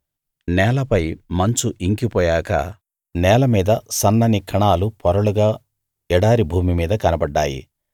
నేలపై మంచు ఇంకిపోయాక నేలమీద సన్నని కణాలు పొరలుగా ఎడారి భూమి మీద కనబడ్డాయి